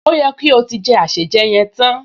Ó yẹ kí o ti jẹ àsèjẹ yẹn tán